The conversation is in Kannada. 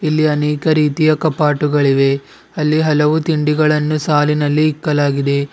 ಇಲ್ಲಿ ಅನೇಕ ರೀತಿಯ ಕಪಾಟುಗಳಿವೆ ಅಲ್ಲಿ ಹಲವು ತಿಂಡಿಗಳನ್ನು ಸಾಲಿನಲ್ಲಿ ಇಕ್ಕಲಾಗಿದೆ.